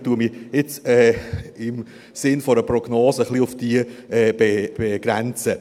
Ich werde mich, im Sinne einer Prognose, auf sie begrenzen.